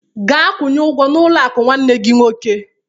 Gaa kwunye ụgwọ n'ụlọ akụ nwanne gị nwoke!